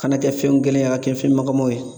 Kana kɛ fɛn gɛlɛnw a ka kɛ fɛn magamaw ye.